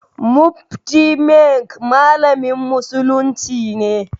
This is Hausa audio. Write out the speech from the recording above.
Mufti Menk malamin musulunci ne.